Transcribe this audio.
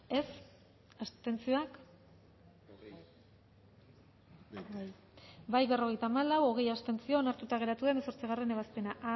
dezakegu bozketaren emaitza onako izan da hirurogeita hamalau eman dugu bozka berrogeita hamalau boto aldekoa hogei abstentzio onartuta geratu da hemezortzigarrena ebazpena